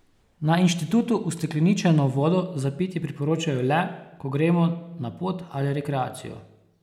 Na inštitutu ustekleničeno vodo za pitje priporočajo le, ko gremo na pot ali rekreacijo.